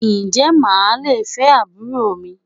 Ǹjẹ́ màá le fẹ́ àbúrò mi?